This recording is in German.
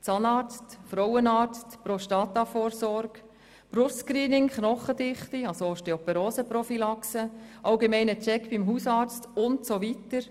Zahnarzt, Frauenarzt, Prostata-Vorsorge, Brust-Screening, Osteoporose-Prophylaxe, allgemeiner Check beim Hausarzt usw.;